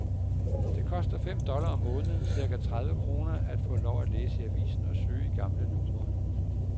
Det koster fem dollars om måneden, cirka tredive kroner, at få lov at læse i avisen og søge i de gamle numre.